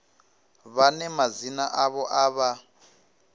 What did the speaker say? vhane madzina avho a vha